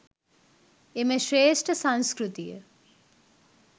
එම ශ්‍රේෂ්ඨ සංස්කෘතිය